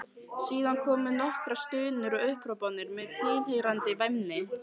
Síðan komu nokkrar stunur og upphrópanir með tilheyrandi væmni.